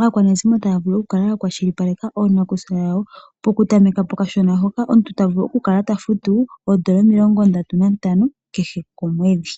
aakwanezimo taya vulu okukala ya kwashilipaleka oonakusa yawo. Pokutameka pokashona hoka omuntu tavulu okukala tafutu oondola omilongo ndatu nantano, kehe komwedhi.